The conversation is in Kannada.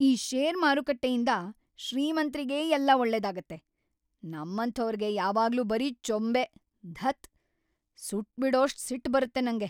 ಈ ಷೇರ್ ಮಾರುಕಟ್ಟೆಯಿಂದ ಶ್ರೀಮಂತ್ರಿಗೇ ಎಲ್ಲ ಒಳ್ಳೇದಾಗತ್ತೆ, ನಮ್ಮಂಥೋರ್ಗೆ ಯಾವಾಗ್ಲೂ ಬರೀ ಚೊಂಬೇ.. ಧತ್‌, ಸುಟ್ಬಿಡೋಷ್ಟ್‌ ಸಿಟ್ಟ್‌ ಬರತ್ತೆ ನಂಗೆ.